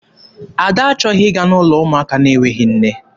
Ada achọghị ịga n'ụlọ ụmụaka na-enweghị nne.